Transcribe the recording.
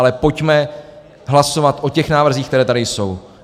Ale pojďme hlasovat o těch návrzích, které tady jsou.